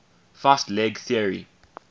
fast leg theory